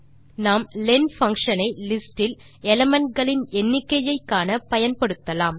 நாம் len function ஐ list இல் எலிமெண்ட் களின் எண்ணிக்கையை காண பயன்படுத்தலாம்